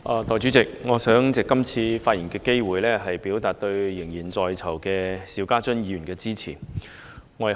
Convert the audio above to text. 代理主席，我想藉這次發言的機會，表達我對現正身陷囹圄的邵家臻議員的支持。